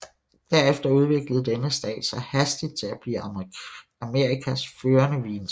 Derefter udviklede denne stat sig hastigt til at blive Amerikas førende vinstat